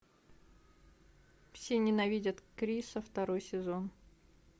все ненавидят криса второй сезон